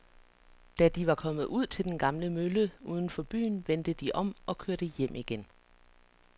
Da de var kommet ud til den gamle mølle uden for byen, vendte de om og kørte hjem igen.